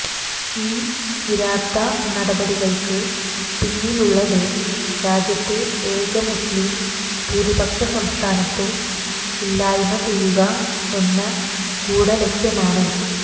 ഈ കിരാത നടപടികൾക്ക് പിന്നിലുള്ളത് രാജ്യത്തെ ഏക മുസ്ലിം ഭൂരിപക്ഷ സംസ്ഥാനത്തെ ഇല്ലായ്മ ചെയ്യുക എന്ന ഗൂഢലക്ഷ്യമാണ്